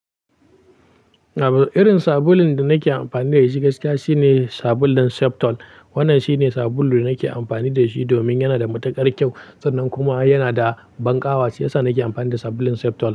Abu, irin sabulun da nake amfani da shi gaskiya shine sabulun Septol. Wannan shine sabulu da nake amfani da shi domin yana da matukar kyau. Sannan kuma yana da banƙawa shiyasa nake amfani da sabulun Septol.